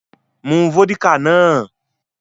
Mú vódíkà náà!